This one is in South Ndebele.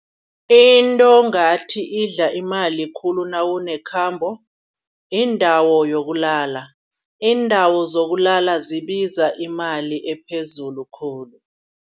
Into ngathi idla imali khulu nawune khabo. Yindawo yokulala, iindawo zokulala zibiza imali ephezulu khulu.